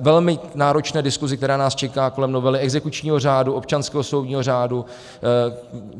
velmi náročné diskuzi, která nás čeká kolem novely exekučního řádu, občanského soudního řádu.